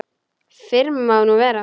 Fyrr má nú vera!